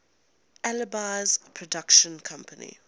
alby's production company